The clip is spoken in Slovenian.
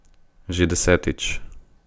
Že desetič.